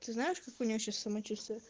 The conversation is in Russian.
ты знаешь как у нее сейчас самочувствие